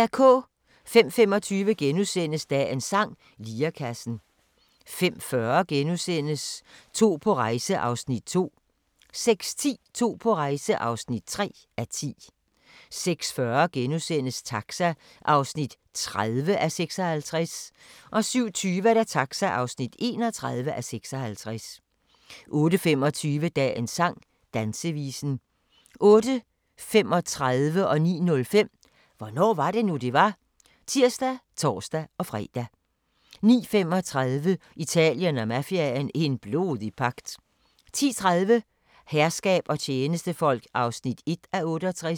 05:25: Dagens sang: Lirekassen * 05:40: To på rejse (2:10)* 06:10: To på rejse (3:10) 06:40: Taxa (30:56)* 07:20: Taxa (31:56) 08:25: Dagens sang: Dansevisen 08:35: Hvornår var det nu, det var? (tir og tor-fre) 09:05: Hvornår var det nu, det var? (tir og tor-fre) 09:35: Italien og mafiaen – en blodig pagt 10:30: Herskab og tjenestefolk (1:68)